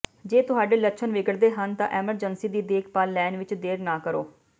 ਜੇ ਤੁਹਾਡੇ ਲੱਛਣ ਵਿਗੜਦੇ ਹਨ ਤਾਂ ਐਮਰਜੈਂਸੀ ਦੀ ਦੇਖਭਾਲ ਲੈਣ ਵਿਚ ਦੇਰ ਨਾ ਕਰੋ